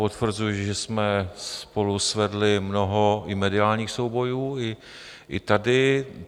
Potvrzuji, že jsme spolu svedli mnoho i mediálních soubojů, i tady.